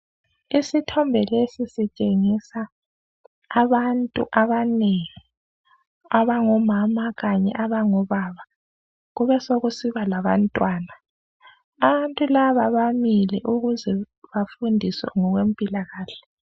Isithombe lesi sitshengisa abantu abanengi, abangomama kanye abangobaba, besekusiba labantwana. Abantu laba bamile ukuze bafundiswe ngokwempilakahle.